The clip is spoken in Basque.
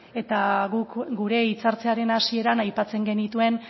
eta guk gure hitzartzearen hasieran aipatzen genituen